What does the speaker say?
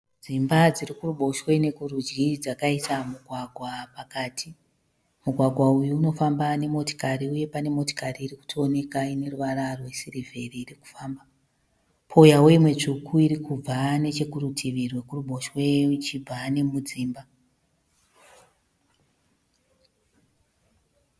Dzimba dziri kuruboshwe nekurudyi dzakaita mugwagwa pakati. Mugwagwa uyu unofamba nemotikari uye pane motikari iri kutooneka ine ruvara rwesirivheri iri kufamba. Pouyawo imwe tsvuku iri kubva nechekurutivi rwekuruboshwe ichibva nemudzimba.